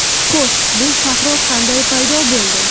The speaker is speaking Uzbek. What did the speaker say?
Xo‘sh, bu sahro qanday paydo bo‘ldi?